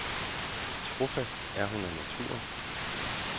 Trofast er hun af naturen.